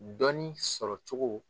Dɔɔnin sɔrɔcogo